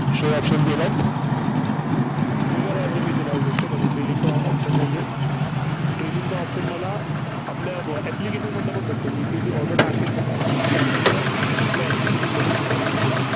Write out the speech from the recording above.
show option दिलात? Free Call Order मी येथे लावू शकतो. trailing चा option नाहीये. trailing चा option मला आपल्या application मधनं पण भेटतं. इथं जी order टाकेन ना, तो option मला आपल्या application मध्येसुद्धा भेटतो.